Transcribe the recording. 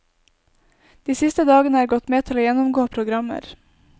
De siste dagene er gått med til å gjennomgå programmer.